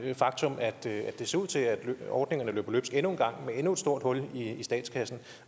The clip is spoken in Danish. det faktum at det ser ud til at ordningerne løber løbsk endnu en gang med endnu et stort hul i statskassen